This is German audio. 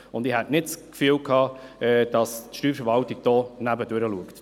Ich hatte nicht den Eindruck, dass die Steuerverwaltung an irgendetwas vorbei guckt.